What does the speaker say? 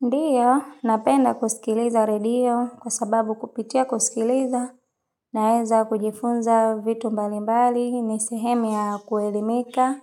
Ndiyo, napenda kusikiliza radio kwa sababu kupitia kusikiliza naeza kujifunza vitu mbali mbali, ni sehemu ya kuelimika,